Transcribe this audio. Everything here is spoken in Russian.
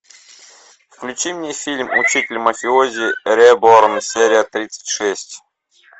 включи мне фильм учитель мафиози реборн серия тридцать шесть